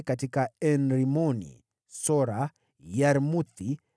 katika En-Rimoni, katika Sora, katika Yarmuthi,